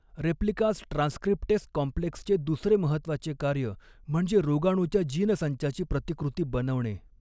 Replicas transcriptase कॉम्प्लेक्सचे दुसरे महत्त्वाचे कार्य म्हणजे रोगाणूच्या जीनसंचाची प्रतिकृती बनवणे.